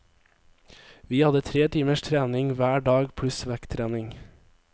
Vi hadde tre timers trening hver dag pluss vekttrening.